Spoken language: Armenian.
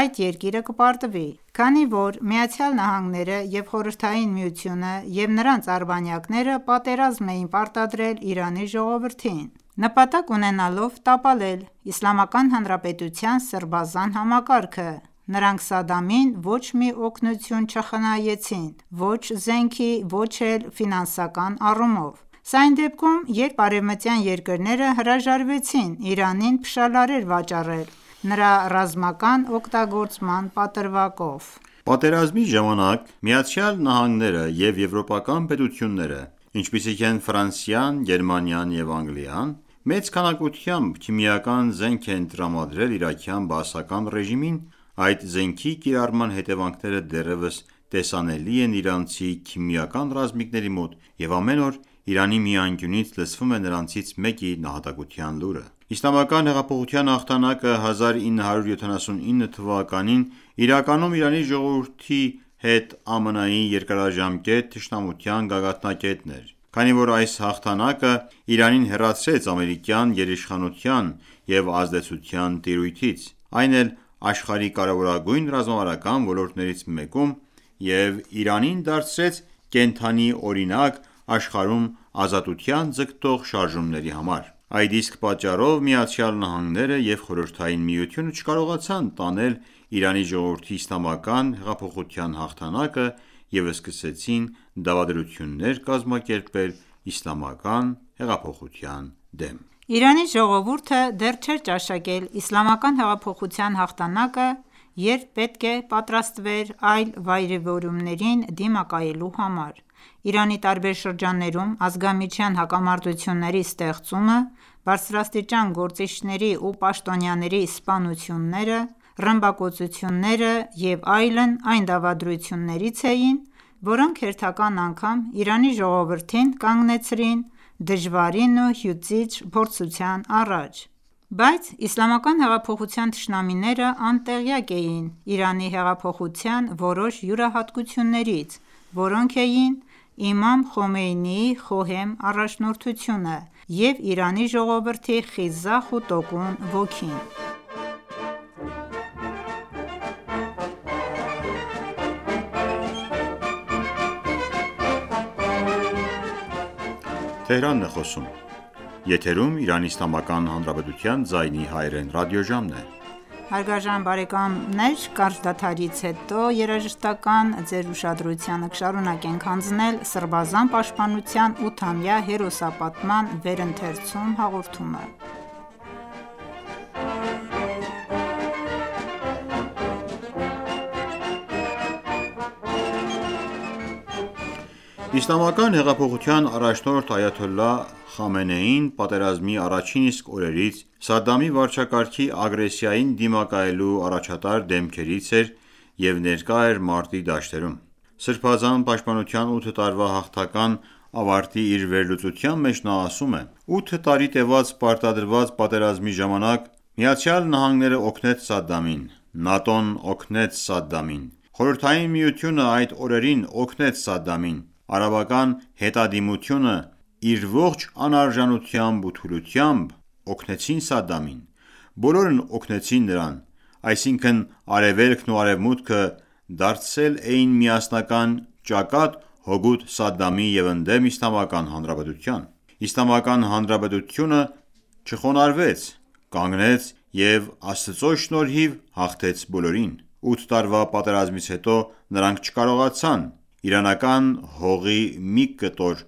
այդ երկիրը կպարտվի։ Քանի որ ԱՄՆ-ն, ԽՍՀՄ-ը և նրանց արբանյակները պատերազմ էին պարտադրել Իրանի ժողովրդին՝ նպատակ ունենալով տապալել Իսլամական Հանրապետության սրբազան համակարգը, նրանք Սադամին ոչ մի օգնություն չխնայեցին ո՛չ զենքի, ո՛չ էլ ֆինանսական առումով։ Սա այն դեպքում, երբ արևմտյան երկրները հրաժարվեցին Իրանին փշալարեր վաճառել՝ նրա ռազմական օգտագործման պատրվակով։ Պատերազմի ժամանակ ԱՄՆ-ն և եվրոպական պետությունները, ինչպիսիք են Ֆրանսիան, Գերմանիան և Անգլիան, մեծ քանակությամբ քիմիական զենք են տրամադրել իրաքյան բաասական ռեժիմին, այդ զենքի կիրառման հետևանքները դեռևս տեսանելի են իրանցի քիմիական ռազմիկների մոտ, և ամեն օր Իրանի մի անկյունից լսվում է նրանցից մեկի նահատակության լուրը: Իսլամական հեղափոխության հաղթանակը 1979 թվականին իրականում Իրանի ժողովրդի հետ ԱՄՆ-ի երկարաժամկետ թշնամության գագաթնակետն էր, քանի որ այս հաղթանակը Իրանին հեռացրեց ամերիկյան գերիշխանության և ազդեցության տիրույթից, այն էլ, աշխարհի կարևորագույն ռազմավարական ոլորտներից մեկում և Իրանին դարձրեց կենդանի օրինակ աշխարհում ազատության ձգտող շարժումների համար: Այդ իսկ պատճառով ԱՄՆ-ը և Խորհրդային Միությունը չկարողացան տանել Իրանի ժողովրդի իսլամական հեղափոխության հաղթանակը և սկսեցին դավադրություններ կազմակերպել իսլամական հեղափոխության դեմ։ Իրանի ժողովուրդը դեռ չէր ճաշակել Իսլամական հեղափոխության հաղթանակը, երբ պետք է պատրաստվեր այլ վայրիվերումներին դիմակայելու համար: Իրանի տարբեր շրջաններում ազգամիջյան հակամարտությունների ստեղծումը, բարձրաստիճան գործիչների ու պաշտոնյաների սպանությունները, ռմբակոծությունները և այլն այն դավադրություններից էին, որոնք հերթական անգամ Իրանի ժողովրդին կանգնեցրին դժվարին ու հյուծիչ փորձության առաջ։ Բայց Իսլամական հեղափոխության թշնամիները անտեղյակ էին Իրանի հեղափոխության որոշ յուրահատկություններից, որոնք էին Իմամ Խոմեյնիի խոհեմ առաջնորդությունը և Իրանի ժողովրդի խիզախ ու տոկուն ոգին: Իսլամական հեղափոխության առաջնորդ Այաթոլլահ Խամենեին պատերազմի առաջին իսկ օրերից Սադամի վարչակարգի ագրեսիային դիմակայելու առաջատար դեմքերից էր և ներկա էր մարտի դաշտերում։ Սրբազան պաշտպանության ութ տարվա հաղթական ավարտի իր վերլուծության մեջ նա ասում է.«Ութ տարի տեւած պարտադրված պատերազմի ժամանակ ԱՄՆ-ն օգնեց Սադդամին, ՆԱՏՕ-ն օգնեց Սադդամին, Խորհրդային Միությունը այդ օրերին օգնեց Սադամին, արաբական հետադիմությունը իր ողջ անարժանությամբ ու թուլությամբ օգնեցին Սադդամին: Բոլորն օգնեցին նրան: Այսինքն՝ Արևելքն ու Արևմուտքը դարձել էին միասնական ճակատ՝ հօգուտ Սադամի և ընդդեմ Իսլամական Հանրապետության: Իսլամական Հանրապետությունը չխոնարհվեց, կանգնեց և Աստծո շնորհով հաղթեց բոլորին: Ութ տարվա պատերազմից հետո նրանք չկարողացան իրանական հողի մի կտոր